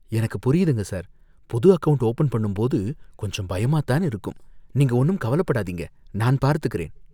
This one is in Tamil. எனக்குப் புரியுதுங்க சார்! புது அக்கவுண்ட் ஓபன் பண்ணும்போது கொஞ்சம் பயமாதான் இருக்கும், நீங்க ஒன்னும் கவலைப்படாதீங்க, நான் பார்த்துக்கிறேன்.